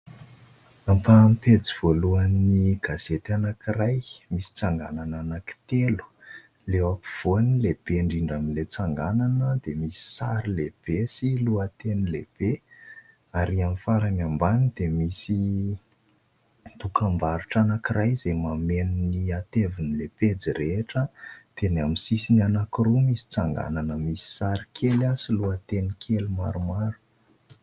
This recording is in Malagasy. Ampaham-pejy voalohany gazety anankiray misy tsanganana anankitelo. Ilay ampovoany lehibe indrindra amin'ilay tsanganana dia misy sary lehibe sy lohateny lehibe ary amin'ny farany ambany dia misy dokam-barotra anankiray izay mameno ny ateviny ilay pejy rehetra ; dia ny amin'ny sisiny anankiroa misy tsanganana misy sary kely sy lohateny kely maromaro.